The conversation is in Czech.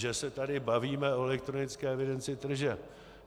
Že se tady bavíme o elektronické evidenci tržeb.